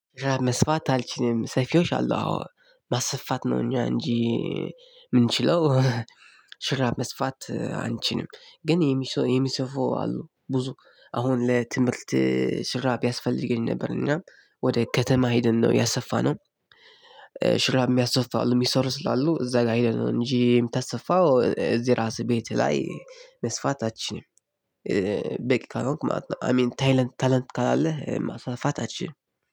ሹራብ መስፋት አልችልም ሰይፊዎች አሉአ ማሰፋት ነው እኛ እንጂ የምንችለው። ሹራብ መስፋት አንችልም ግን የሚሰፉ አሉ ብዙ አሁን ለትምህርት ሹራብ ያስፈልገኝ ነበር እና ወደ ከተማ ሄደን ነው ያሰፋነው። ሹራብ የሚያሰፉ አል አሉ የሚሰሩ ስላሉ እዛ ጋር ሄደን ነው እንጂ የምታስፋው እዚህ ራስህ ቤት ላይ መስፋት አችልም። በቃ ካልሆንክ ማለት ነው አይ ሚን ታለንት ክለለህ ማሰፋት አይችልም።